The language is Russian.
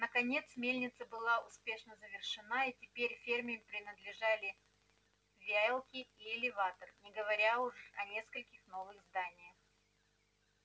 наконец мельница была успешно завершена и теперь ферме принадлежали веялка и элеватор не говоря уж о нескольких новых зданиях